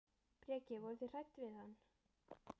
Breki: Voruð þið hrædd við hann?